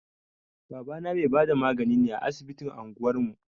Babana mai bada magani ne a asibitin anguwar mu.